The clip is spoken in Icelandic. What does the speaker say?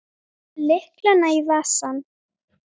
Lætur lyklana í vasann.